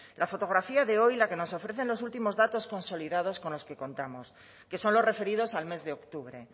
la fotografía de hoy la que nos ofrecen los últimos datos consolidados con los que contamos que son los referidos al mes de octubre